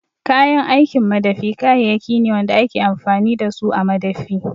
Kayan aikin madafi kayayyaki ne wanda ake amfani da su a madafi